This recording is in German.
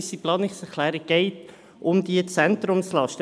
In unserer Planungserklärung geht es um diese Zentrumslasten.